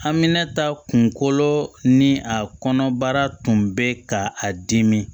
An mɛna ta kunkolo ni a kɔnɔbara tun be ka a dimi